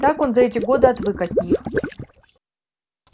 так он за эти годы отвык от них